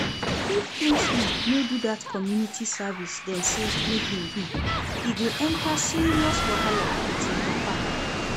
If Kingsley no do dat community service dem say make im do, e go enter serious wahala with im papa